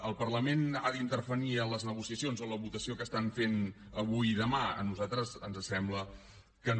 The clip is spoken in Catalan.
el parlament ha d’intervenir en les negociacions o en la votació que fan avui i demà a nosaltres ens sembla que no